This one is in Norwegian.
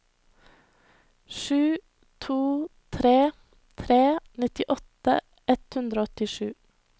sju to tre tre nittiåtte ett hundre og åttisju